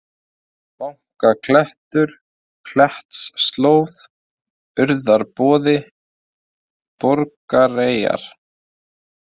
Banaklettur, Klettsslóð, Urðarboði, Borgareyjar